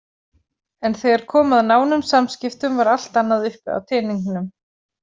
En þegar kom að nánum samskiptum var allt annað uppi á teningnum.